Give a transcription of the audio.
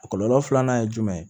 A kɔlɔlɔ filanan ye jumɛn ye